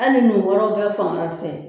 Ali ni wɔɔrɔ bɛ fan wɛrɛ fɛ